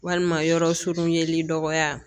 Walima yɔrɔ surunyanli dɔgɔya